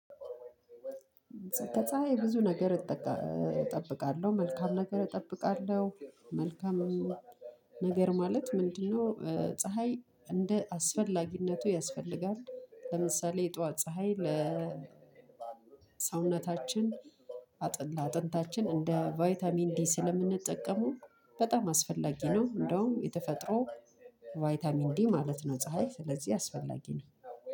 ከፀሀይ ብዙ ነገር እጠብቃለሁ፤ መልካም ነገር እጠብቃለሁ። መልካም ነገር ማለት ምንድነው ፀሀይ እንደ አስፈላጊነቱ ያስፈልጋል። ለምሳሌ የጧት ፀሀይ ለሰውነታችን አጥንት አጥንታችን እንደ ቫይታሚን ዲ ስለምንጠቀመው በጣም አስፈላጊ ነው። እንደውም የተፈጥሮ ቫይታሚን ዲ ማለት ነው። ፀሀይ ስለዚህ አስፈላጊ ነው።